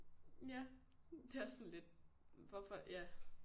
ja det er også sådan lidt hvorfor ja